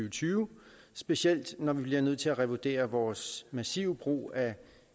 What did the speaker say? og tyve specielt når vi bliver nødt til at revurdere vores massive brug af